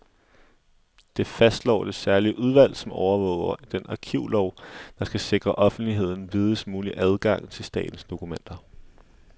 Det fastslår det særlige udvalg, som overvåger den arkivlov, der skal sikre offentligheden videst mulig adgang til statens dokumenter.